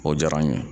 O diyara n ye